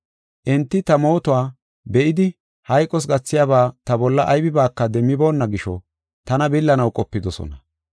Enti ta mootuwa be7idi hayqos gathiyaba ta bolla aybibaaka demmiboonna gisho tana billanaw qopidosona.